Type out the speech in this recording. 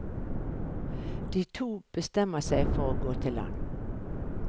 De to bestemmer seg for å gå til land.